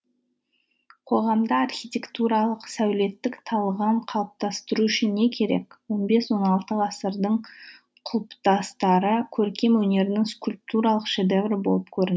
қоғамда архитектуралық сәулеттік талғам қалыптастыру үшін не керек он бес он алты ғасырдың құлпытастары көркем өнердің скульптуралық шедеврі болып